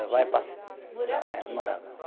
Morava aqui? É, morava